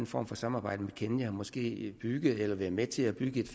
form for samarbejde med kenya måske bygge eller være med til at bygge